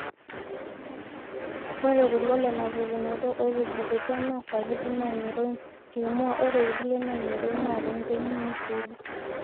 ore kulo lena pukunoto ootubulutua naa sapuki naa ng'iroin temua ore irkulie naa ng'iroin naa rongeni nisiida